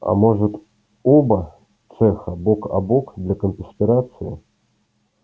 а может оба цеха бок о бок для конспирации